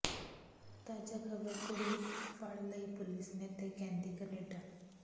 ਤਾਜਾ ਖਬਰ ਕੁੜੀ ਫੱੜ ਲਈ ਪੁਲਿਸ ਨੇ ਤੇ ਕਹਿੰਦੀ ਕਨੇਡਾ